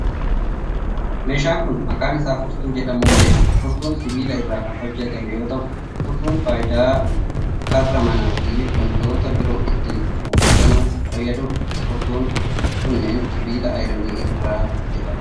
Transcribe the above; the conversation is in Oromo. Meeshaan kun, maqaan isaa furtuu jedhamuun beekama. Furtuun sibiila irraa kan hojjatame yoo ta'u, furtuun faayidaa karra manaa fi wantoota biroo ittiin cufuu fi banuuf fayyaduu dha. Furtuun kunneen sibiila ayiranii irraa hojjataman.